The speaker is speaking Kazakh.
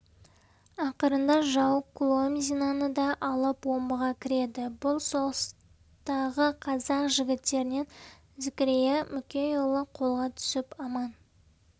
ақырында жау куломзиноны да алып омбыға кіреді бұл соғыстағы қазақ жігіттерінен зікірия мүкейұлы қолға түсіп аман